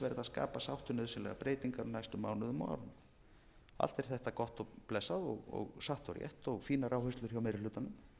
skapa sátt um nauðsynlegar breytingar á næstu mánuðum og árum allt er þetta gott og blessað og satt og rétt og fínar áherslur hjá meiri hlutanum